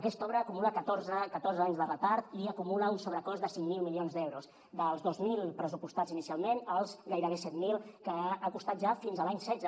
aquesta obra acumula catorze anys de retard i acumula un sobrecost de cinc mil milions d’euros dels dos mil pressupostats inicialment als gairebé set mil que ha costat ja fins a l’any dos mil setze